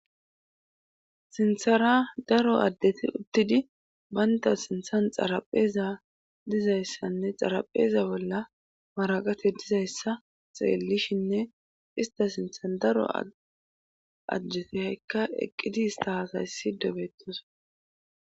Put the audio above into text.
sinthara daro addeti uttidi baynta sinthan xarapheeza dizayssanne xarapheeza bolla maraqate dizayssa xeellishinne ista sintha daro ajjete haykka eqqidi istashayssi dobettosa